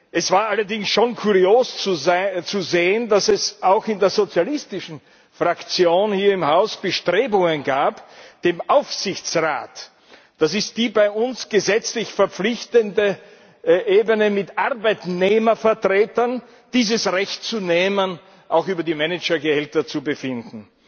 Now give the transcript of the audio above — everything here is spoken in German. Es war allerdings schon kurios zu sehen, dass es auch in der sozialistischen Fraktion hier im Haus Bestrebungen gab, dem Aufsichtsrat das ist die bei uns gesetzlich verpflichtende Ebene mit Arbeitnehmervertretern das Recht zu nehmen, auch über die Managergehälter zu befinden.